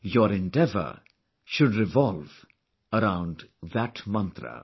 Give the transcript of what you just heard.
Your endeavour should revolve around that Mantra